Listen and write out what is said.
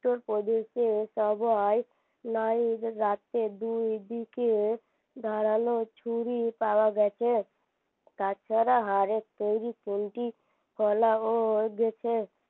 উত্তরপ্রদেশে সবাই রাতে দুইদিকে ধারালো ছুরি পাওয়া গেছে তাছাড়া হাড়ের তৈরি খুন্তি ফলাও গেছে